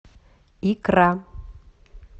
икра